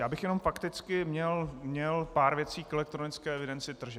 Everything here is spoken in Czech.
Já bych jenom fakticky měl pár věcí k elektronické evidenci tržeb.